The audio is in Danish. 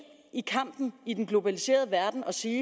i kampen i den globaliserede verden og sige i